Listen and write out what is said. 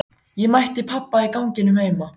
Ég mætti pabba í ganginum heima.